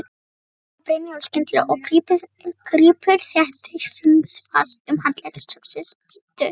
þrumar Brynjólfur skyndilega og grípur þéttingsfast um handlegg stráksins, bíddu!